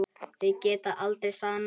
Þeir geta aldrei sannað það!